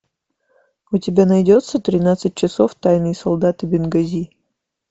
у тебя найдется тринадцать часов тайные солдаты бенгази